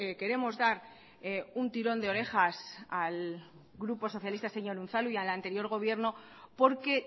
queremos dar un tirón de orejas al grupo socialista señor unzalu y al anterior gobierno porque